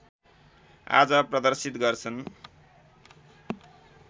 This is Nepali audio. आज प्रदर्शित गर्छन